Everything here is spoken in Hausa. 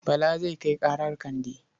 Bala zai kai ƙarar Kande.